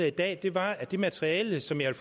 i dag var at det materiale som jeg